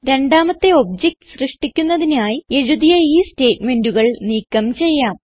രണ്ടാമത്തെ ഒബ്ജക്ട് സൃഷ്ടിക്കുന്നതിനായി എഴുതിയ ഈ സ്റ്റേറ്റ്മെന്റുകൾ നീക്കം ചെയ്യാം